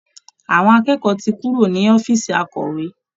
Àwọn akẹ́kọ̀ọ́ ti kúrò ní ọ̀fíìsì akọ̀wé